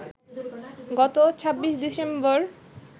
গত ২৬ ডিসেম্বর